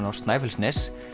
á Snæfellsnes